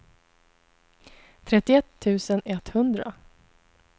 trettioett tusen etthundra